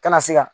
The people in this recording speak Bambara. Kana se ka